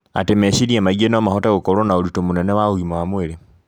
atĩ meciria maingĩ no mahote gũkorwo na ũritũ mũnene wa ũgima wa mwĩrĩ